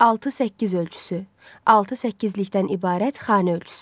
6-8 ölçüsü, 6-8-likdən ibarət xanə ölçüsü.